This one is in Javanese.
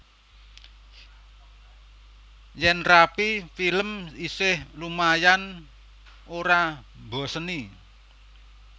Yen Rapi Films isih lumayan ora mboseni